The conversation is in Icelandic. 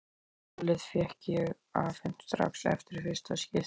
Hjólið fékk ég afhent strax eftir fyrsta skiptið.